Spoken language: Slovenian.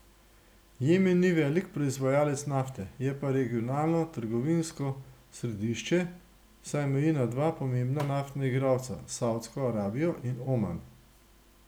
Jemen ni velik proizvajalec nafte, je pa regionalno trgovinsko središče, saj meji na dva pomembna naftna igralca, Savdsko Arabijo in Oman.